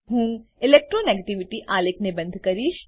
હું electro negativity આલેખને બંધ કરીશ